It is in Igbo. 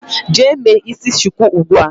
Jee me isi shuku ugbua.